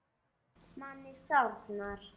Manni sárnar þetta.